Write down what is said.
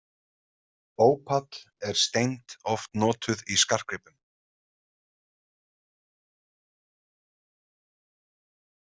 Ópall er steind oft notuð í skartgripum.